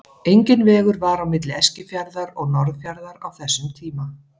Enginn vegur var á milli Eskifjarðar og Norðfjarðar á þessum tíma.